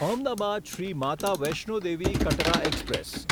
Ahmedabad Shri Mata Vaishno Devi Katra express